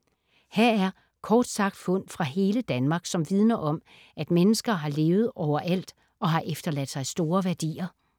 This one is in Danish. Her er kort sagt fund fra hele Danmark, som vidner om, at mennesker har levet overalt og har efterladt sig store værdier.